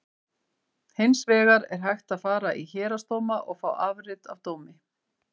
Hins vegar er hægt að fara í héraðsdóma og fá afrit af dómi.